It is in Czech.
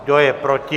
Kdo je proti?